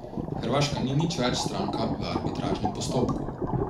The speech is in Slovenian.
Hrvaška ni nič več stranka v arbitražnem postopku.